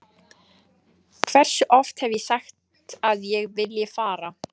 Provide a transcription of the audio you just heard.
Hversu oft hef ég sagt að ég vilji fara?